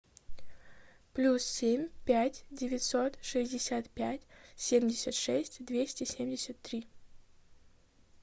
плюс семь пять девятьсот шестьдесят пять семьдесят шесть двести семьдесят три